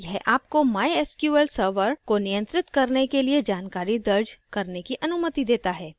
यह आपको mysql server को नियंत्रित करने के लिए जानकारी दर्ज करने की अनुमति देता है